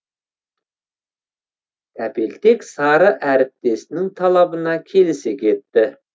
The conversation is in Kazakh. тәпелтек сары әріптесінің талабына келісе кетті